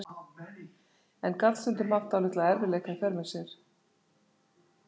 En gat stundum haft dálitla erfiðleika í för með sér.